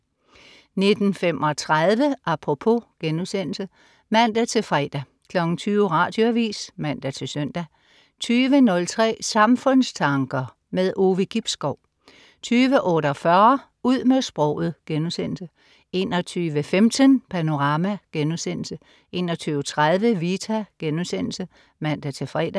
19.35 Apropos* (man-fre) 20.00 Radioavis (man-søn) 20.03 Samfundstanker. Ove Gibskov 20.48 Ud med sproget* 21.15 Panorama* 21.30 Vita* (man-fre)